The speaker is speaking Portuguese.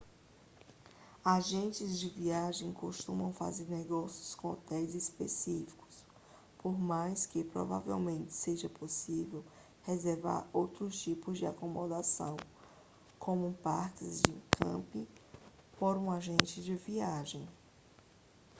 agentes de viagens costumam fazer negócios com hotéis específicos por mais que provavelmente seja possível reservar outros tipos de acomodação como parques de camping por um agente de viagens